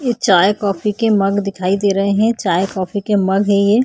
ये चाय coffee mug मग दिखाई दे रहे है चाय कॉफ़ी के मग है ये।